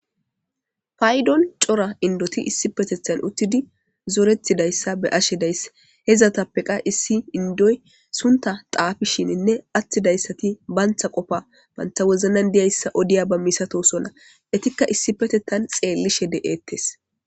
Paydoni cora indoti issipetethan uttidi zoretidaysa beyashe days. Izetappe qase issi indoy suntha xaafisininne atidaysati banta qopay banta wozanande'izaysa oddidi diyaysa milatosona etika issippetethan xelidi de'etees.